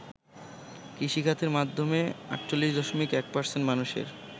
কৃষিখাতের মাধ্যমে ৪৮.১% মানুষের